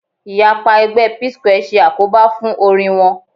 Ìyapa ẹgbẹ́ Psquare ṣe àkóbá fún orin wọn